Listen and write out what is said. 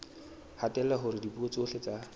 hatella hore dipuo tsohle tsa